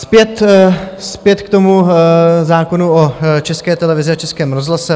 Zpět k tomu zákonu o České televizi a Českém rozhlase.